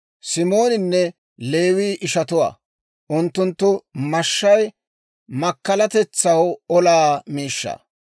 «Simooninne Leewii ishatuwaa; unttunttu mashshay makkalatetsaw olaa miishshaa.